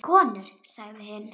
Konur sagði hinn.